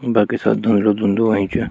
बाकी सब धुंदलू धुंदलु होयुँ च।